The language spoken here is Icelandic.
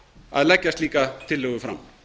að leggja slíka tillögu fram